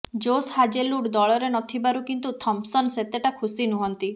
ଜୋସ୍ Hazlewood ଦଳରେ ନ ଥିବାରୁ କିନ୍ତୁ ଥମ୍ପସନ୍ ସେତେଟା ଖୁସୀ ନୁହଁନ୍ତି